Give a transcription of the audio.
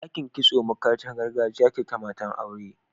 Dakin kitso makarantar gargajiya ce ta mata/aure